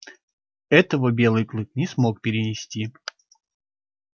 этого белый клык не смог перенести